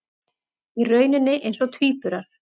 Í rauninni eins og tvíburar.